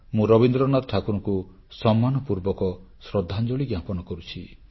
ମୁଁ ରବୀନ୍ଦ୍ରନାଥ ଠାକୁରଙ୍କୁ ସମ୍ମାନପୂର୍ବକ ଶ୍ରଦ୍ଧାଞ୍ଜଳି ଜ୍ଞାପନ କରୁଛି